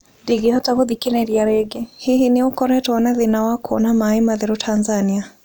Ndingĩhota gũthikĩrĩria rĩngĩ, hihi nĩ ũkoretwo na thĩna wa kuona maĩ matheru Tanzania?